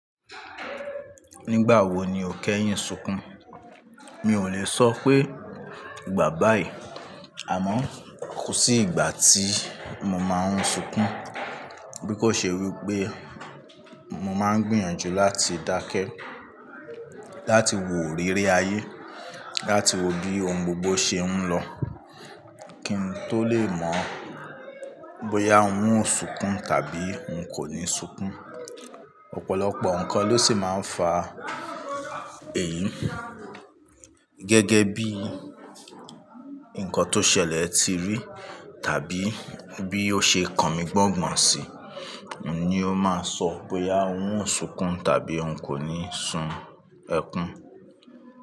Nígbà wo ni o kẹ́yìn sunkún? Mi ò lè sọ pé ìgbà báyìí àmọ́ kò sí ìgbà tí mo máa ń sunkún. Bí kò ṣe wí pé mo máa ń gbìyànjú láti dákẹ́, láti wo orere ayé, láti wo bí ohun gbogbo ṣe ń lọ kí n tó lè mọ̀ bóyá n ó sunkún tàbí n kò ní sunkún. Ọ̀pọ̀lọpọ̀ nǹkan ló sì máa ń fa èyí. Gẹ́gẹ́ bí nǹkan tó ṣẹlẹ̀ tí rí tàbí bí ó ṣe kan mi gbọ́ngbọ̀n sí ni ó máa sọ bóyá n ó sunkún tàbí n kò ní sun ẹkún.